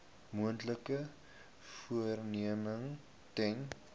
moontlike vervreemding ten